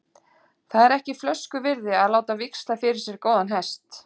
Það er ekki flösku virði að láta víxla fyrir sér góðan hest.